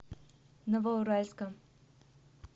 новоуральском